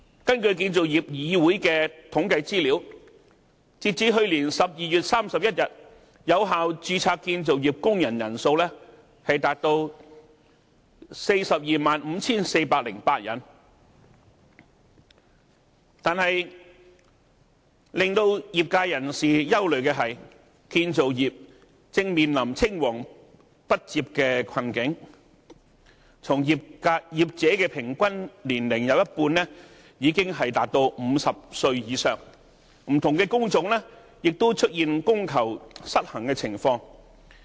根據建造業議會的統計資料，截至去年12月31日，有效註冊建造業工人人數達到 425,408 人，但令業界人士憂慮的是，建造業正面臨青黃不接的困境，從業者有一半平均年齡已經達到50歲以上，不同工種也出現供求失衡的情況。